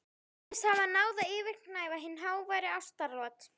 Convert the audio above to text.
Ég virðist hafa náð að yfirgnæfa hin háværu ástaratlot